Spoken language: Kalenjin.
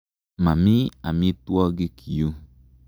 Mami amitwogik yu.